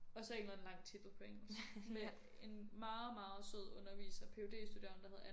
Og så en eller anden lang titel på engelsk med en meget meget sød underviser en PhD studerende der hed Anna